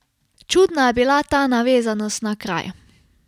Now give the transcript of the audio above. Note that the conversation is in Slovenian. Čudna je bila ta navezanost na kraj.